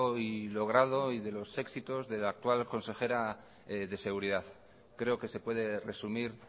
y logrado y de los éxitos de la actual consejera de seguridad creo que se puede resumir